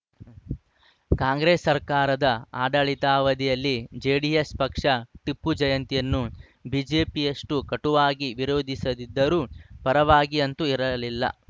ಕಾಂಗ್ರೆಸ್‌ ಸರ್ಕಾರದ ಆಡಳಿತಾವಧಿಯಲ್ಲಿ ಜೆಡಿಎಸ್‌ ಪಕ್ಷ ಟಿಪ್ಪು ಜಯಂತಿಯನ್ನು ಬಿಜೆಪಿಯಷ್ಟುಕಟುವಾಗಿ ವಿರೋಧಿಸದಿದ್ದರೂ ಪರವಾಗಿ ಅಂತೂ ಇರಲಿಲ್ಲ